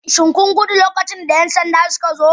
Shin kun gudu lokacin da 'yan sanda suka zo?